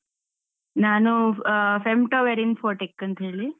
ನಾನು ಆ, Femtoware Infotech ಅಂತ ಹೇಳಿ.